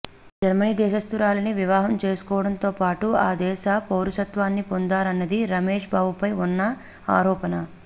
Germany దేశస్తురాలిని వివాహం చేసుకోవడంతో పాటు ఆ దేశ పౌరసత్వాన్ని పొందారన్నది రమేష్ బాబుపై ఉన్న ఆరోపణ